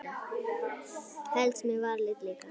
Helst með varalit líka.